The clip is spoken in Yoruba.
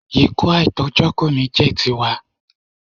Ikú àìtójọ́ kò ní jẹ́ ti wa.